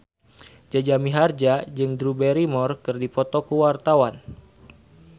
Jaja Mihardja jeung Drew Barrymore keur dipoto ku wartawan